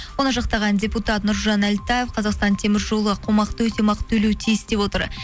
оны жақтаған депутат нұржан әлтаев қазақстан темір жолы қомақты өтемақы төлеу тиіс деп отыр